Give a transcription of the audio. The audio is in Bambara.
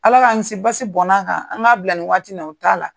Ala k'an kiisi basi bɔnna a kan an k'a bila nin waati in na o t'a la.